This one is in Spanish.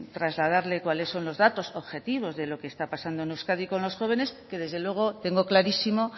trasladarle cuáles son los datos objetivos de lo que está pasando en euskadi con los jóvenes que desde luego tengo clarísimo